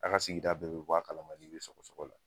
A ka sigida bɛɛ be bɔ a kala ma k' i be sɔgɔsɔgɔ la